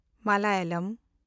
Malayalam